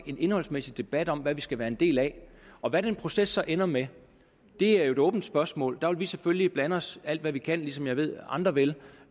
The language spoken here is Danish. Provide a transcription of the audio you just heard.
en indholdsmæssig debat om hvad vi skal være en del af og hvad den proces så ender med er jo et åbent spørgsmål der vil vi selvfølgelig blande os alt hvad vi kan ligesom jeg ved at andre vil